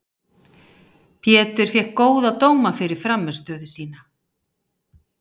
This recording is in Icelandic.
Pétur fékk góða dóma fyrir frammistöðu sína.